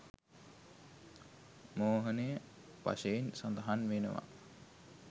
මෝහනය වශයෙන් සඳහන් වෙනවා